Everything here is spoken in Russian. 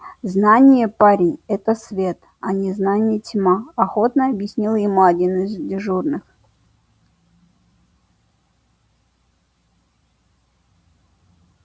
знание парень это свет а незнание тьма охотно объяснил ему один из дежурных